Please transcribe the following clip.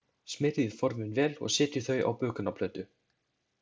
Smyrjið formin vel og setjið þau á bökunarplötu.